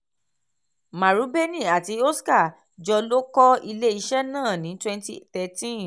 marubeni àti oska-jo ló kọ́ ilé iṣẹ́ náà ní twenty thirteen.